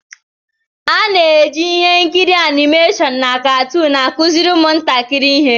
A na-eji ihe nkiri anịmeshọn na katoon akụziri ụmụntakịrị ihe.